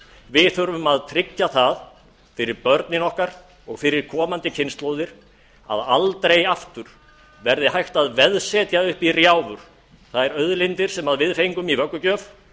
við þurfum að tryggja það fyrir börnin okkar og fyrir komandi kynslóðir að aldrei aftur verði hægt að veðsetja upp í rjáfur þær auðlindir sem við fengum í vöggugjöf